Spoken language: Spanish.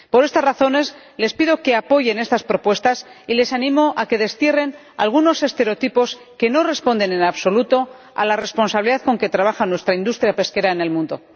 Por estas razones, les pido que apoyen estas propuestas y les animo a que destierren algunos estereotipos que no responden en absoluto a la responsabilidad con que trabaja nuestra industria pesquera en el mundo.